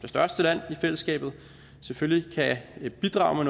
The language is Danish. største land i fællesskabet selvfølgelig kan bidrage